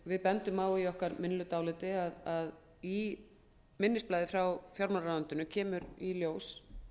við bendum á í okkar minnihlutaáliti að í minnisblaði frá fjármálaráðuneytinu kemur í ljós